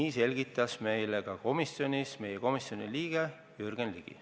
Nii selgitas meile komisjonis meie komisjoni liige Jürgen Ligi.